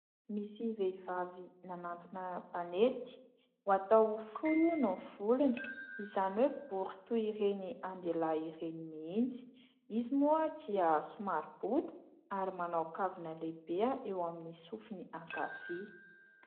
Misy vehivavy nanantona mpanety, ho atao fohy hono ny volony, izany hoe bory toy ireny an-dehilahy ireny mihitsy. Izy moa dia somary bota ary manao kavina lehibe eo amin'ny sofiny ankavia.